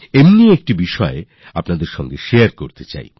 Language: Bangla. এমনি একটি বিষয় আমি আপনাদের সাথে শারে করতে চাই